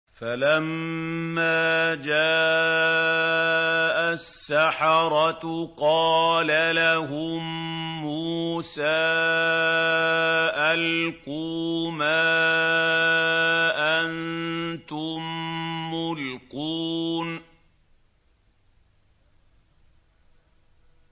فَلَمَّا جَاءَ السَّحَرَةُ قَالَ لَهُم مُّوسَىٰ أَلْقُوا مَا أَنتُم مُّلْقُونَ